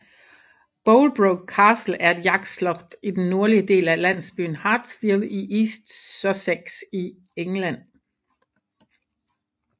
Bolebroke Castle er et jagtslot i den nordlige del af landsbyen Hartfield i East Sussex i England